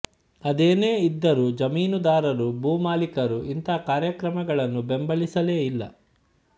ಅದೇನೇ ಇದ್ದರೂ ಜಮೀನುದಾರರು ಭೂಮಾಲೀಕರು ಇಂಥ ಕಾರ್ಯಕ್ರಮಗಳನ್ನು ಬೆಂಬಲಿಸಲೇ ಇಲ್ಲ